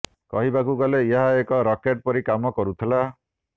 କହିବାକୁ ଗଲେ ଏହା ଏକ ରାକେଟ ପରି କାମ କରୁଥିଲା